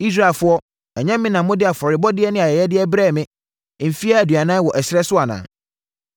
“Israelfoɔ, ɛnyɛ me na mode afɔrebɔdeɛ ne ayɛyɛdeɛ brɛɛ me mfeɛ aduanan wɔ ɛserɛ so anaa?